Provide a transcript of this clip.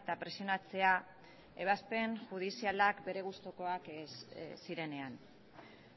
eta presionatzea ebazpen judizialak bere gustukoak ez zirenean